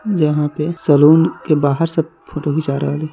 यहा पे सैलून के बाहर सब फोटो खीचा रहल हई ।